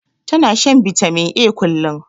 Ta na shan bitamin A kullum